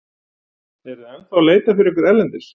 Eruð þið ennþá að leita fyrir ykkur erlendis?